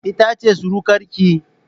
Ita ce surukar ki?